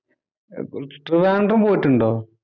ട്രിവാന്‍ഡ്രം പോയിട്ടുണ്ടോ?